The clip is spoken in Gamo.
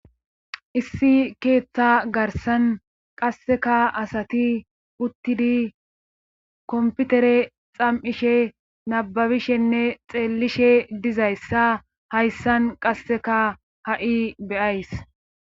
Issi keeththa garsan qasseka asati uttidi komputere xam'ishe nababishenne xeellishe dizayssa hayssan qasseka ha'i beyays